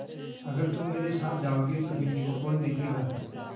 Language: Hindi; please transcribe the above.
अगर तुम मेरे साथ जाओगे तो बिन्नी को कौन देखेगा